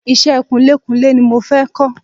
Iṣẹ́ kunlékunlé ni mo fẹ́ kọ́